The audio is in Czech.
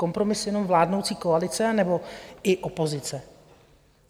Kompromis jenom vládnoucí koalice, anebo i opozice?